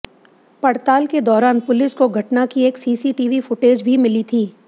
पड़ताल के दौरान पुलिस को घटना की एक सीसीटीवी फुटेज भी मिली थी